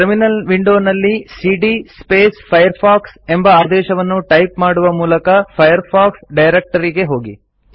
terminal ವಿಂಡೋನಲ್ಲಿ ಸಿಡಿಯ Firefox ಎಂಬ ಆದೇಶವನ್ನು ಟೈಪ್ ಮಾಡುವ ಮೂಲಕ ಫೈರ್ಫಾಕ್ಸ್ ಡೈರೆಕ್ಟರಿ ಗೆ ಹೋಗಿ